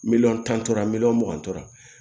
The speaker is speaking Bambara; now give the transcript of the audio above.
Miliyɔn tan tora miliyɔn mugan tora